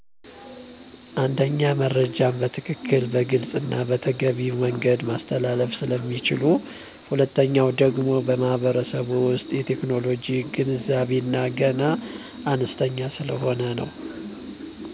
አንደኛ መረጃዉ በትክክል; በግልፅና በተገቢዉ መንገድ ማስተላለፍ ስለሚችሉ።. ሁለተኛ ደግሞ በማህበረሰቡ ዉሰጥ የቴክኖሎጂ ገንዛቤዉ ገና አነስተኛ ሰለሆነ ነው።